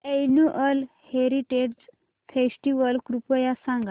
annual heritage festival कृपया सांगा